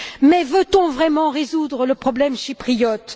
Mais veut on vraiment résoudre le problème chypriote?